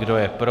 Kdo je pro?